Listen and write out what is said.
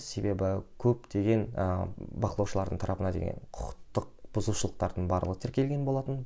себебі көптеген ыыы бақылаушылардың тарапына деген құқықтық бұзушылықтардың барлығы тіркелген болатын